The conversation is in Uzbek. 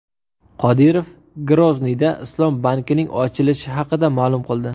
Qodirov Grozniyda islom bankining ochilishi haqida ma’lum qildi.